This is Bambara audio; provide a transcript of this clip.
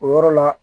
O yɔrɔ la